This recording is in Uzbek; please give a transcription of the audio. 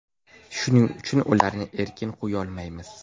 Shuning uchun, ularni erkin qo‘yolmaymiz.